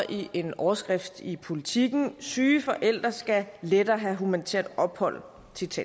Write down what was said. i en overskrift i politiken syge forældre skal lettere have humanitært ophold